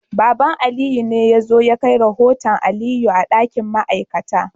Baba Aliyu ne ya zo ya kai rahoton Aliyu a dakin ma'aikata